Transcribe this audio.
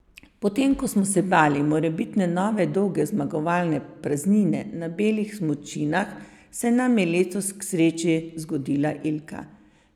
Potem ko smo se bali morebitne nove dolge zmagovalne praznine na belih smučinah, se nam je letos k sreči zgodila Ilka.